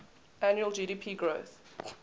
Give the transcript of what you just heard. annual gdp growth